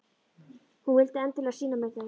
Hún vildi endilega sýna mér þau.